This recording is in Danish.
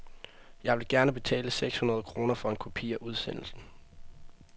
Jeg vil gerne betale sekshundrede kroner for en kopi af udsendelsen.